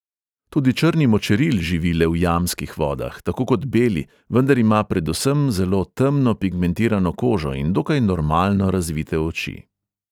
Tudi črni močeril živi le v jamskih vodah, tako kot beli, vendar ima predvsem zelo temno pigmentirano kožo in dokaj normalno razvite oči.